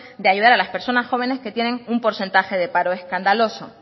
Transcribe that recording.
de ayudar a las personas jóvenes que tienen un porcentaje de paro escandaloso